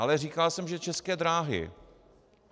Ale říkal jsem, že České dráhy.